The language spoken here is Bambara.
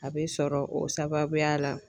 A bɛ sɔrɔ o sababuya la.